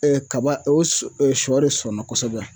kaba o sɔ de sɔnna kosɛbɛ